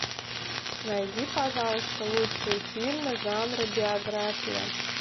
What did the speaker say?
найди пожалуйста лучшие фильмы жанра биография